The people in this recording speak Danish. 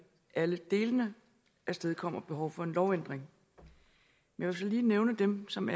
alle delene afstedkommer behov for en lovændring jeg vil så lige nævne dem som